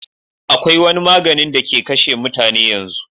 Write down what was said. akwai wani maganin da ke kashe mutane yanzu